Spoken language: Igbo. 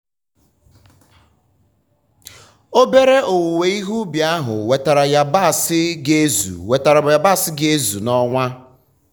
obere owuwe ihe ubi ahụ wetara yabasị ga-ezu wetara yabasị ga-ezu n'ọnwa.